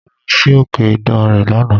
Mo lọ si òkè ìdànrè lánàá.